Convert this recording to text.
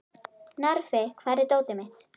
Narfi, hvar er dótið mitt?